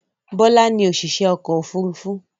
Bọ́lá ni òṣìṣẹ́ ọkọ̀-òfurufú.